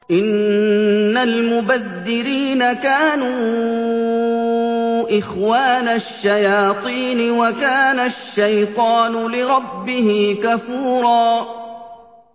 إِنَّ الْمُبَذِّرِينَ كَانُوا إِخْوَانَ الشَّيَاطِينِ ۖ وَكَانَ الشَّيْطَانُ لِرَبِّهِ كَفُورًا